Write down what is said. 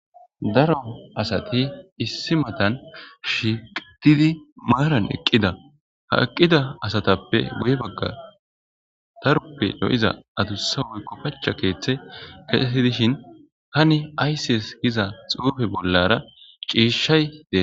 Daro asati issi matan shiiqtidi maaran eqqida ha eqqida asatappe goy bagga taruppe y''iza adussa woykko pacha keeththe keeidishin hani aysses giza xuufe bollara ciishshay de.